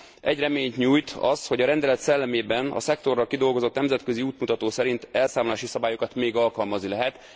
Egy reményt nyújt az, hogy a rendelet szellemében a szektorra kidolgozott nemzetközi útmutató szerint elszámolási szabályokat még alkalmazni lehet.